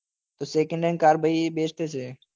તો second hand car ભાઈ best છે.